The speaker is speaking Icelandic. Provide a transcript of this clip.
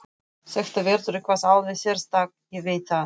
Þetta verður eitthvað alveg sérstakt, ég veit það.